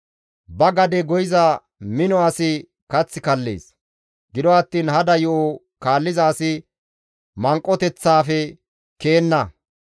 Ba gade goyiza mino asi kath kallees; gido attiin hada yo7o kaalliza asi manqoteththaafe ke7enna.